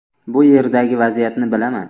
Bu yerdagi vaziyatni bilaman.